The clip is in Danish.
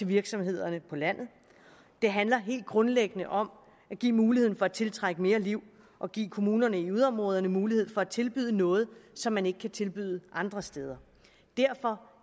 virksomhederne på landet det handler helt grundlæggende om at give muligheden for at tiltrække mere liv og give kommunerne i yderområderne mulighed for at tilbyde noget som man ikke kan tilbyde andre steder derfor